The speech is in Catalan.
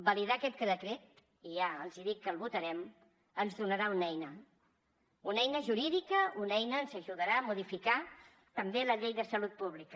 validar aquest decret i ja els dic que el votarem ens donarà una eina una eina jurídica una eina que ens ajudarà a modificar també la llei de salut pública